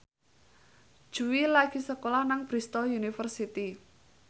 Jui lagi sekolah nang Bristol university